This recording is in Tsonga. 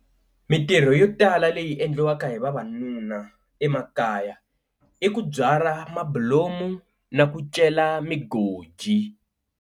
Mintirho yo tala leyi endliwaka hi vavanuna emakaya i ku byala mabulomu na ku cela magoji.